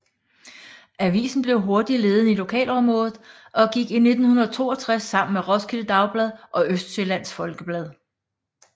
Avisen blev hurtigt ledende i lokalområdet og gik i 1962 sammen med Roskilde Dagblad og Østsjællands Folkeblad